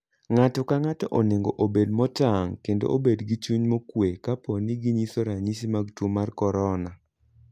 Ng'ato ka ng'ato onego obed motang' kendo obed gi chuny mokuwe kapo ni ginyiso ranyisi mag tuo mar corona.